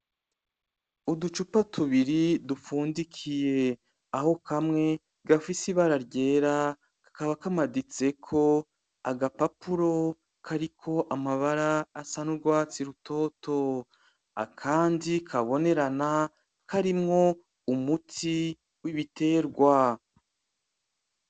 Uducupa tubiri dupfundikiye, aho hamwe gafise ibara ryera kakaba kamaditseko agapapuro kariko amabara asa n'urwatsi rutoto, akandi kabonerana karimwo umuti w'ibiterwa.